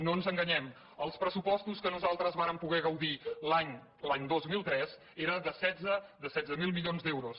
no ens enganyem els pressupostos de què nosaltres vàrem poder gaudir l’any dos mil tres eren de setze mil milions d’euros